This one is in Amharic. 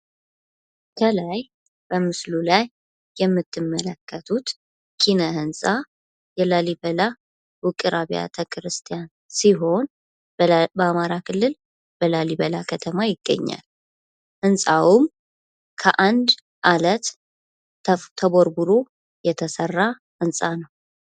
ከላይ በምስሉ ላይ የምትመለከቱት ኪነ ህንፃ የላሊበላ ውቅር አብያተ ክርስቲያን ሲሆን በአማራ ክልል በላሊበላ ከተማ ይገኛል። ህንፃውም ከአንድ አለት ተቦርቡሮ የተሰራ ህንፃ ነው።